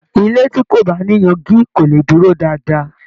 ilé tí kò bá ní yangi kò lè dúró dáadáa.